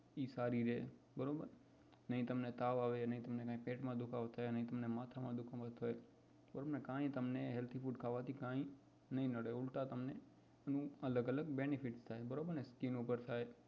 એ સારી રે નાઈ તમને તાવ આવે નાઈ તમને કઈ પેટ માં દુખાવો થાય નાઈ તમને માથા માં દુખાવો થાય કે કઈ તમને healthy food ખાવાથી તમને કઈ નડે નઈ ઉલ્ટા તમને અલગ અલગ benefit થાય બરોબર ને